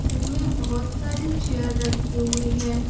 जिनमें बहुत सारे चेयर रखे हुए है।